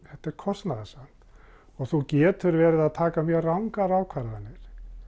þetta er kostnaðarsamt þú getur verið að taka mjög rangar ákvarðanir